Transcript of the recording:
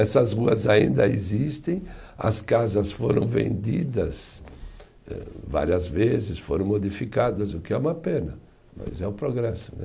Essas ruas ainda existem, as casas foram vendidas eh várias vezes, foram modificadas, o que é uma pena, mas é o progresso né.